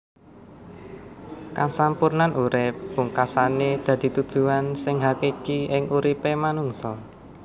Kasampurnan urip pungkasané dadi tujuan sing hakiki ing uripé manungsa